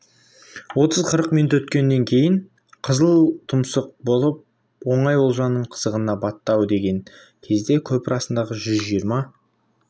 отыз-қырық минут өткеннен кейін қызыл тұмсық болып оңай олжаның қызығына батты ау деген кезде көпір астындағы жүз жиырма